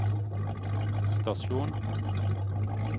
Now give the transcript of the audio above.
stasjon